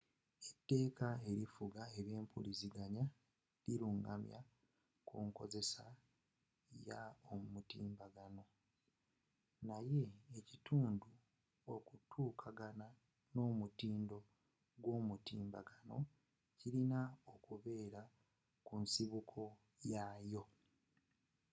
eteeka erifuga ebyempuliziganya lilungamya kunkozesa ya yomutimbagano naye ekintu okutuukagana n'omutindo gw'omutimbagano kilina okubeera kunsibuko yaayo